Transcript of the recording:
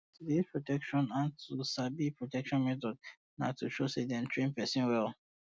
to dey use protection and to um sabi protection methods na to show say dey train say dey train person well